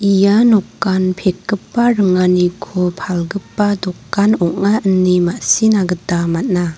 ia nokan pekgipa ringaniko palgipa dokan ong·a ine ma·sina gita man·a.